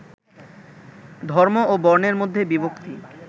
ধর্ম ও বর্ণের মধ্যে বিভক্তি